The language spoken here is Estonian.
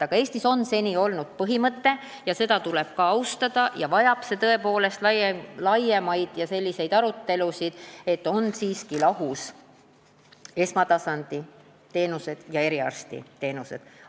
Aga Eestis on seni olnud põhimõte, mida tuleb ka austada ja mis vajab tõepoolest laiemaid arutelusid, et esmatasanditeenused ja eriarstiteenused on lahus.